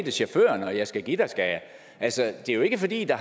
chaufføren og jeg skal give dig skal jeg altså det er jo ikke fordi der